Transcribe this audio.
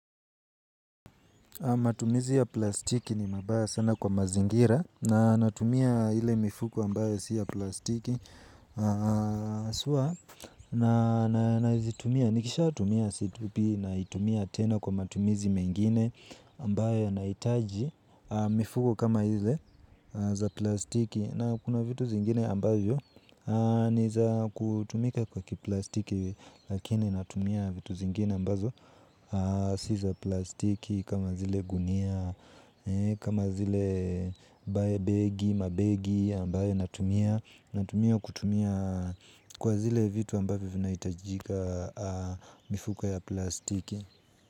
Matumizi ya plastiki ni mabaya sana kwa mazingira na natumia ile mifuko ambayo siya plastiki. Sua na hizi tumia, nikisha tumia situpi na itumia tena kwa matumizi mengine ambayo na itaji. Mifuko kama ile za plastiki na kuna vitu zingine ambayo niza kutumika kwa kiplastiki lakini natumia vitu zingine ambazo siza plastiki kama zile gunia, kama zile bae begi, mabegi ambayo natumia. Natumia kutumia kwa zile vitu ambayo vina itajika mifuko ya plastiki.